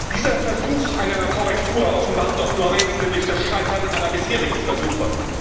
Dieser Versuch einer Korrektur offenbart doch nur eins, nämlich das Scheitern aller bisherigen Versuche.